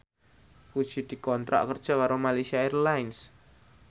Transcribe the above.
Puji dikontrak kerja karo Malaysia Airlines